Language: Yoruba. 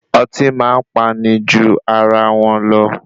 Ọtí máa ní pani ju ara wọn lọ.